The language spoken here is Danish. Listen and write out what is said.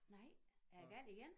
Nej er æ gal igen?